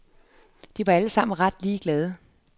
De var alle sammen ret ligeglade.